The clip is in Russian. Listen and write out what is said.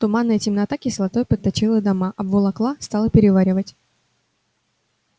туманная темнота кислотой подточила дома обволокла стала переваривать